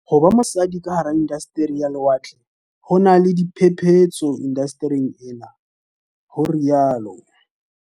Ho ba mosadi ka hara inda steri ya lewatle ho na le "diphephetso indastering enwa" ho rialo